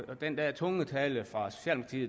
rigtigt at